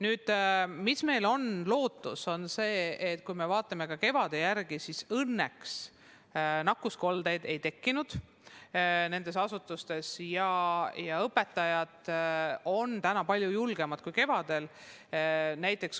Lootust on äratanud see, et kui me mõtleme kevadele, siis õnneks nakkuskoldeid koolides ei tekkinud ja õpetajad on nüüd palju julgemad kui kevadel.